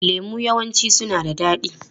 Lemu yawanci suna da daɗi.